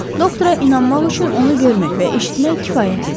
Doktora inanmaq üçün onu görmək və eşitmək kifayət idi.